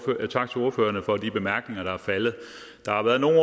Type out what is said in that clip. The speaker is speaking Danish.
tak til ordførerne for de bemærkninger der er faldet der har været nogle